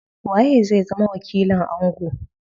Waye zai zama wakilin ango?